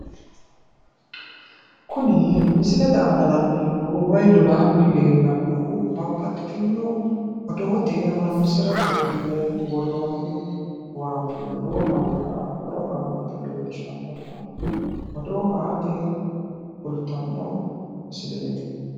Kun misilete aanna la'nneemohu wayi lolahani leelanohu babbaxitino oddo aate yine worooni waati